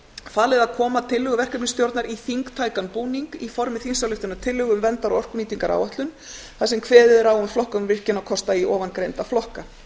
falið að koma tillögu verkefnisstjórnar í þingtækan búning í formi þingsályktunartillögu um verndar og orkunýtingaráætlun þar sem kveðið er á um flokkun virkjunarkosta í ofangreinda flokka